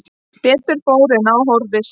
Betur fór því en á horfðist